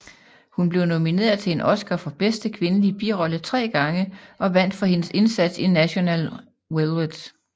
Hun blev nomineret til en Oscar for bedste kvindelige birolle tre gange og vandt for hendes indsats i National Velvet